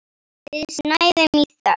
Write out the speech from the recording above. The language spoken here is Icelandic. Við snæðum í þögn.